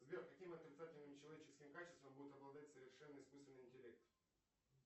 сбер каким отрицательным человеческим качествам будет обладать искусственный интеллект